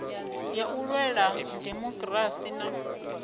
ya u lwela dimokirasi na